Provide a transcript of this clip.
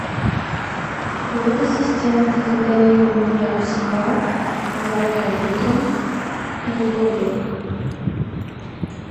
привет ассистент забронируй мне спа завтра утром на любое время